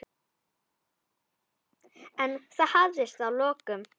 En það hafðist að lokum.